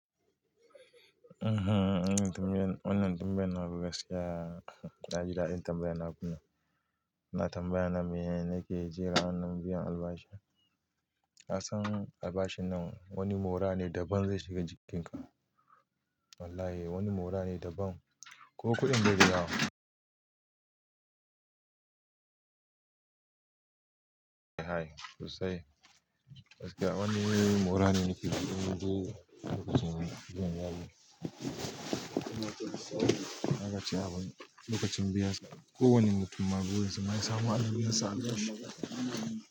Uhm, wannan tambayan na gaskiya, na ji daɗin tambayan na kuma. Na tambaya na me yake jira wannan biyan albashi? Na san albashin nan wani mura ne daban zai shiga jikinka. Wallahi wani mura ne daban. Ko kuɗin bai da yawa. Hai, soasi gaskiya wani mura ne nake ji, abun da aka ce min, biyan yari. Na ga cewa abin da aka ce min biya, ko wani mutum maɓuɓu yace mun, na samu an biya sa albashi.